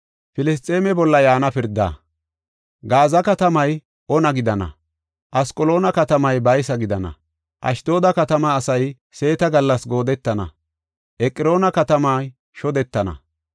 Gaaza katamay ona gidana; Asqaloona katamay baysa gidana. Ashdooda katama asay seeta gallas goodettana; Eqroona katamay shodetana.